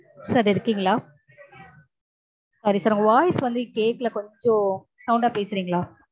sir எடுத்தீங்களா? sorry sir உங்க voice வந்து கேக்கல கொஞ்சம் sound ஆ பேசறீங்களா?